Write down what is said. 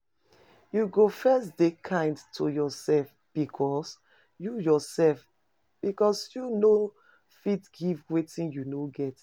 You go first de kind to yourself because you yourself because you no fit give wetin you no get